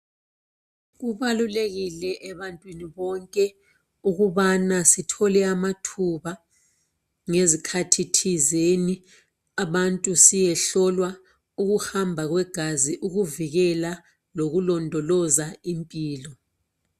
kubalulekile ebantwini bonke ukubana sithole amathuba ngezikhathi thizeni ukuba abantu siyehlolwa ukuhamba kwegazi ukuvikela lokulondloza impilo